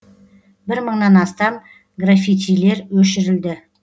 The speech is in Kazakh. бір мыңнан астам графитилер өшірілді